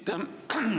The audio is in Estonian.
Aitäh!